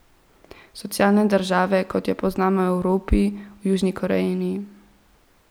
Socialne države, kot jo poznamo v Evropi, v Južni Koreji ni.